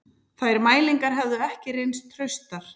Þær mælingar hefðu ekki reynst traustar